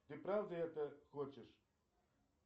ты правда это хочешь